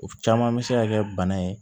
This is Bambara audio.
O caman bɛ se ka kɛ bana ye